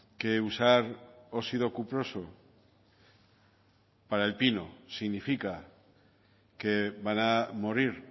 que usar óxido cuproso para el pino significa que van a morir